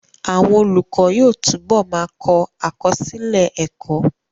Àwọn olùkọ́ yóò túbọ̀ ma kọ àkọsílẹ̀ ẹ́kọ́